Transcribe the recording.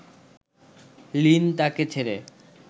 Lin তাকে ছেড়ে